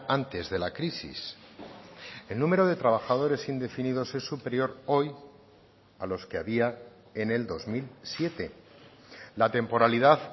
antes de la crisis el número de trabajadores indefinidos es superior hoy a los que había en el dos mil siete la temporalidad